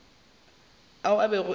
ao a bego a le